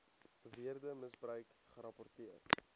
beweerde misbruik gerapporteer